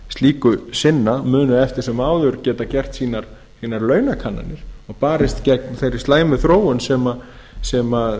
slíku sinna munu eftir sem áður geta gert sínar launakannanir og barist gegn þeirri slæmu þróun sem